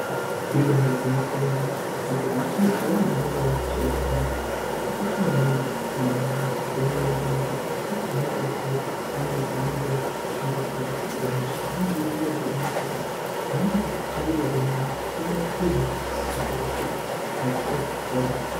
Ibarigwinyiso romene, nzvimbo dzinochengeterwa vantu vanenge vane hosha dzakawanda dzakakosha maningi muntaramo yavo nenyaya yekuti ndopaanodetsereka paya paanenge ari kushungurudzika nehosha, zvinova zvirizvo zvakanaka kuti paanenge achichengeterwe yona abatikirwe kuti asazoshupika kana kuti asazokuvara.